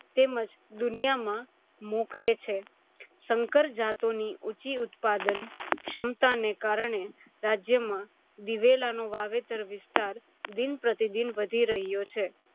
તેમજ દુનિયામાં મોખરે છે. સંકર જાતોની ઊંચી ઉત્પાદન ક્ષમતાને કારણે રાજ્યમાં દિવેલાનું વાવેતર વિસ્તાર દિન-પ્રતિદિન વધી રહ્યો છે.